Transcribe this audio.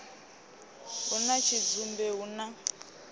hu na tshidzumbe hu na